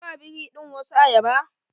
Ka ba biri ɗin wasu ayaba!